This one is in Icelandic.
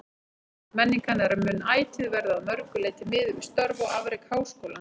Menning hennar mun ætíð verða að mörgu leyti miðuð við störf og afrek Háskólans.